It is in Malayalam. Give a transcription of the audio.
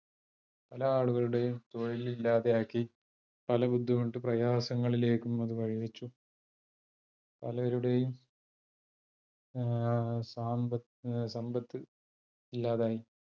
പല ആളുകളുടെയും തൊഴില് ഇല്ലാതെ ആക്കി, പല ബുദ്ധിമുട്ട് പ്രയാസങ്ങളിലേക്കും അത് വഴി വെച്ചു. പലരുടെയും സാമ്പ സമ്പത്ത് ഇല്ലാതായി.